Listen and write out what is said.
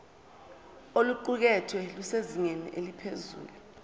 oluqukethwe lusezingeni eliphezulu